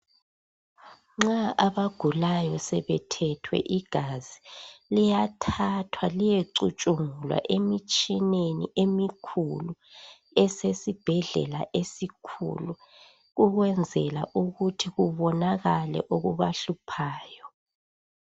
Nxa abagulayo sebethethwe igazi liyathathwa liyecutshungulwa emitshineni emikhulu esesibhedlela esikhulu ukwenzela ukuthi kubonakale okubahluphayo